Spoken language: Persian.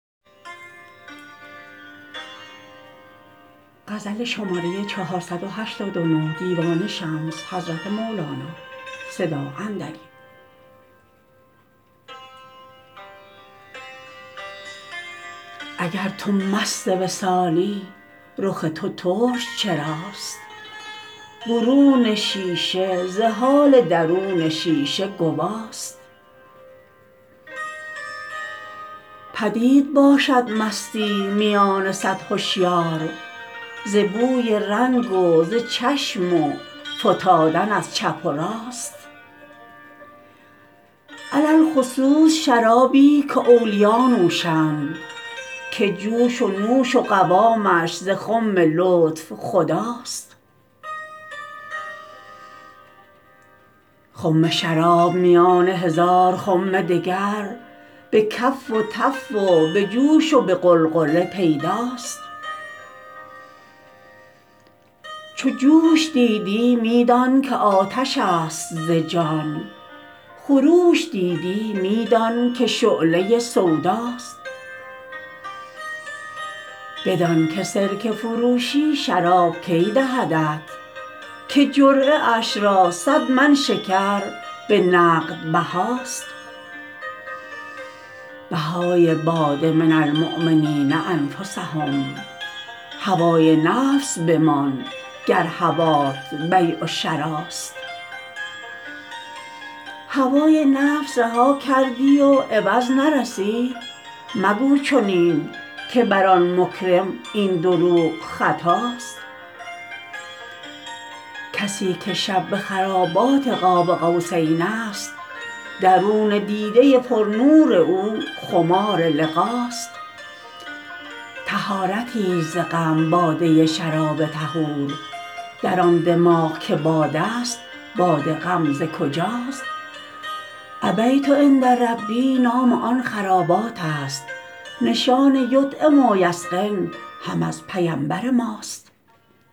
اگر تو مست وصالی رخ تو ترش چراست برون شیشه ز حال درون شیشه گوا ست پدید باشد مستی میان صد هشیار ز بوی رنگ و ز چشم و فتادن از چپ و راست علی الخصوص شرابی که اولیا نوشند که جوش و نوش و قوامش ز خم لطف خدا ست خم شراب میان هزار خم دگر به کف و تف و به جوش و به غلغله پیدا ست چو جوش دیدی می دان که آتش ست ز جان خروش دیدی می دانک شعله سودا ست بدانک سرکه فروشی شراب کی دهدت که جرعه اش را صد من شکر به نقد بها ست بهای باده من المؤمنین انفسهم هوای نفس بمان گر هوات بیع و شراست هوای نفس رها کردی و عوض نرسید مگو چنین که بر آن مکرم این دروغ خطا ست کسی که شب به خرابات قاب قوسین ست درون دیده پرنور او خمار لقا ست طهارتی ست ز غم باده شراب طهور در آن دماغ که باده است باد غم ز کجاست ابیت عند ربی نام آن خرابات است نشان یطعم و یسقن هم از پیمبر ماست